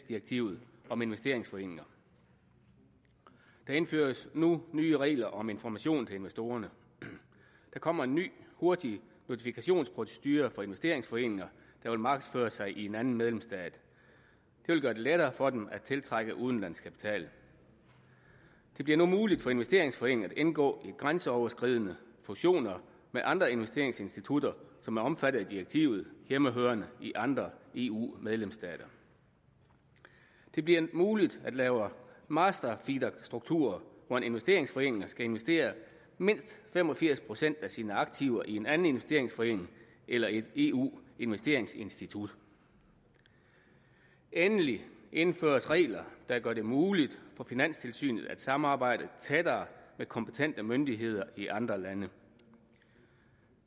direktivet om investeringsforeninger der indføres nu nye regler om information til investorerne der kommer en ny hurtig notifikationsprocedure for investeringsforeninger der vil markedsføre sig i en anden medlemsstat det vil gøre det lettere for dem at tiltrække udenlandsk kapital det bliver nu muligt for investeringsforeninger at indgå i grænseoverskridende fusioner med andre investeringsinstitutter som er omfattet af direktivet hjemmehørende i andre eu medlemsstater det bliver muligt at lave master feeder strukturer hvor en investeringsforening skal investere mindst fem og firs procent af sine aktiver i en anden investeringsforening eller i et eu investeringsinstitut endelig indføres regler der gør det muligt for finanstilsynet at samarbejde tættere med kompetente myndigheder i andre lande